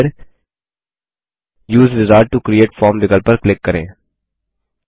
और फिर उसे विजार्ड टो क्रिएट फॉर्म विकल्प पर क्लिक करें